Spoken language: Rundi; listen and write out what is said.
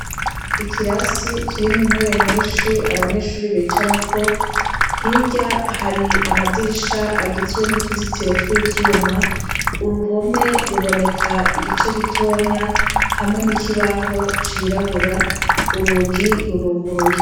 Ikirasi kirimwo intebe nyinshi abanyeshure bicarako, hirya hari amadirisha agizwe n'utuzitiro tw'ivyuma, uruhome ruboneka igice gitonya hamwe n'ikibaho cirabura, urugi ruruguruye.